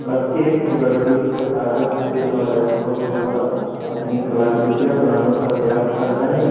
बच्चे एक से बढ़ के एक से कागज पेन और के द्वारा अपनी कला कृतियां बनाने का प्रयास रहे है।